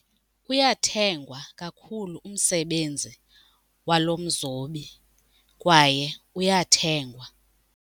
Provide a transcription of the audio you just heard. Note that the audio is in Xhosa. Uyathengwa kakhulu umsebenzi walo mzobi kwaye uyathengwa.